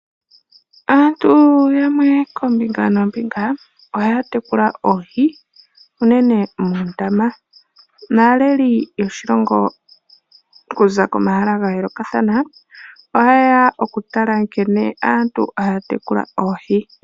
Aantu yamwe koombinga noombinga , ohaya tekula oohi unene mondama . Naaleli yoshilongo kuza komahala ga yoolokathana ,oha yeya oku tala nkene aantu aya tekula oohi .